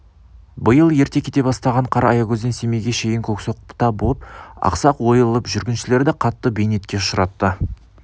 биыл ерте кете бастаған қар аягөзден семейге шейін көксоқта боп ақсақ ойылып жүргіншілерді қатты бейнетке ұшыратты